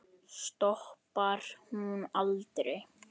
Stoppar hún aldrei?